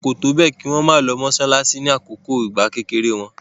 Wọ́n kò tó bẹ́ẹ̀ kí wọn má lọ mọsálásí nígbà kékeré wọn.